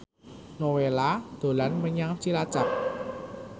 Nowela dolan menyang Cilacap